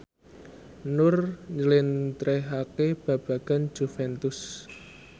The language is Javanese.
Nur njlentrehake babagan Juventus